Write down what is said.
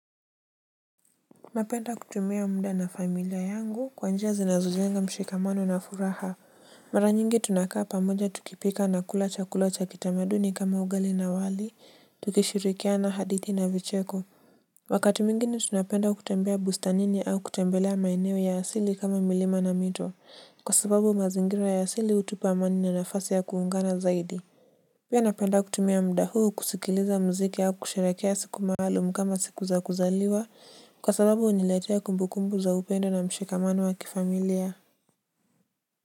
Napenda kutumia mda na familia yangu kwanjia zinazolenga mshikamano na furaha. Maranyingi tunakaa pamoja tukipika na kulacha kulacha kitamaduni kama ugali na wali tukishirikia na hadithi na vicheko. Wakati mingini tunapenda kutembea busta nini au kutembelea maineo ya asili kama milima na mito kwa sababu mazingira ya asili utupa amani na nafasi ya kuungana zaidi. Pia napanda kutumia mda huu kusikiliza mziki hau kusharekea siku mahalumkama siku za kuzaliwa kwa sababu uniletia kumbu kumbu za upendo na mshikamano wa kifamilia.